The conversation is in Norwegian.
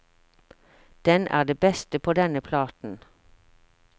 Den er det beste på denne platen.